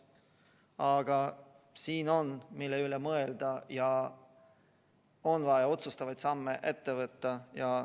Aga siin on, mille üle mõelda, ja on vaja otsustavaid samme ette võtta.